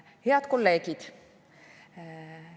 Head kolleegid!